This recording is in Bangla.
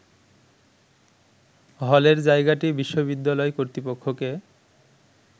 হলের জায়গাটি বিশ্ববিদ্যালয় কর্তৃপক্ষকে